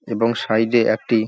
এবং সাইডে একটি --।